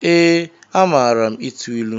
Ee, amaara ịtụ ịlụ.